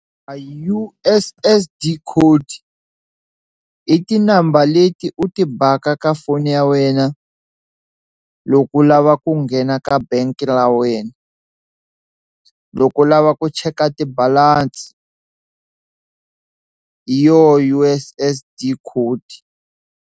A U_S_S_D code i ti-number leti u ti baka ka foni ya wena loko u lava ku nghena ka bank la wena loko u lava ku cheka ti balance hi yoho U_S_S_D code.